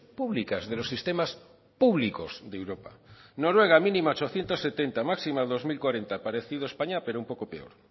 públicas de los sistemas públicos de europa noruega mínima ochocientos setenta máxima dos mil cuarenta parecido a españa pero un poco peor